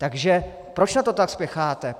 Takže proč na to tak spěcháte?